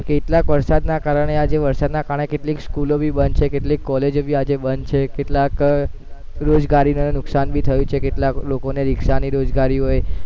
કેટલાક વરસાદના કારણે આજે વરસાદના કારણે કેટલીક સ્કૂલો ભી બંધ છે, કેટલીક કોલેજો ભી આજે બંધ છે કેટલાક રોજગારીને નુકસાન ભી થયું છે કેટલાક લોકોને રિક્ષાની રોજગારી હોય